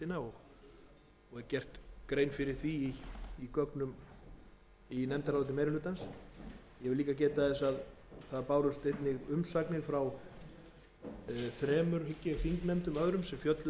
er gerð grein fyrir því í nefndaráliti meiri hlutans ég vil líka geta þess að umsagnir bárust frá þremur hygg ég þingnefndum öðrum sem fjölluðu um einstaka liði þessarar áætlunar þær